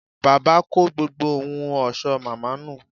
Bàbá kó gbogbo ohun ọ̀ṣọ́ màmá nù